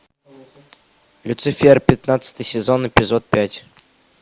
люцифер пятнадцатый сезон эпизод пять